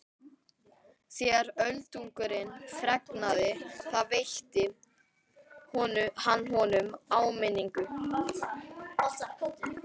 Þegar Öldungurinn fregnaði það veitti hann honum áminningu.